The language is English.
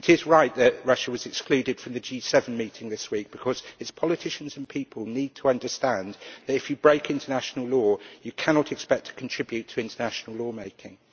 It is right that Russia was excluded from the G7 meeting this week, because its politicians and people need to understand that if you break international law, you cannot expect to contribute to international law making.